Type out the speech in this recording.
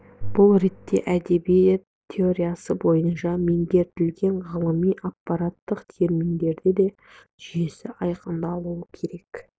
бұл ретте әдебиет теориясы бойынша меңгертілетін ғылыми аппараттар терминдердің де жүйесі айқындалуы керек